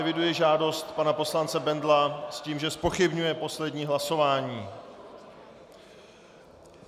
Eviduji žádost pana poslance Bendla s tím, že zpochybňuje poslední hlasování.